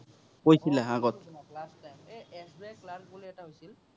time এৰ SBI class বুলি এটা হৈছিল।